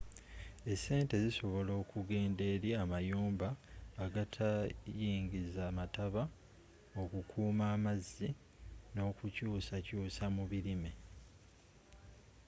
esente zisobola okugenda eri amayumba agatayingiza mataba okukuuma amazzi n'okukyuusakyuusa mu bilime